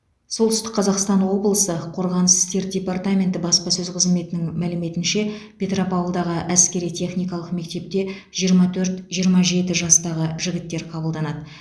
солтүстік қазақстан облысы қорғаныс істер департаменті баспасөз қызметінің мәліметінше петропавлдағы әскери техникалық мектепке жиырма төрт жиырма жеті жастағы жігіттер қабылданады